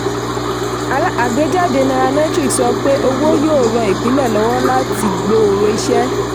àgbéjáde nairametrics sọ pé owó yóò ràn ìpìlẹ̀ lọ́wọ́ láti gbòòrò iṣẹ́.